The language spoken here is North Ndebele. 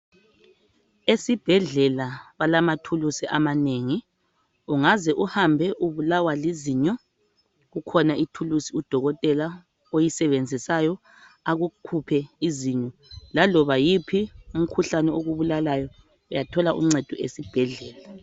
Esibhedlela balamathuluzi amanengi. Ungaze uhambe ubulawa lizinyo, kukhona ithuluzi udokotela oyisebenzisayo akukhuphe izinyo. Laloba yiphi imikhuhlane okubulalayo, uyathola uncedo esibhedlela.